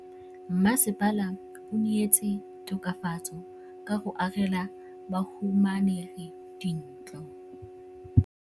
Mmasepala o neetse tokafatsô ka go agela bahumanegi dintlo.